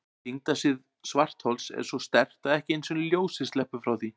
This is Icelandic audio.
Þyngdarsvið svarthols er svo sterkt að ekki einu sinni ljósið sleppur frá því.